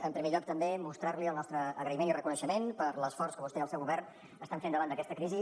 en primer lloc també mostrar li el nostre agraïment i reconeixement per l’esforç que vostè i el seu govern estan fent davant d’aquesta crisi